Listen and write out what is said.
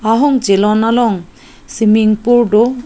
ahong chelon long swimming pool do.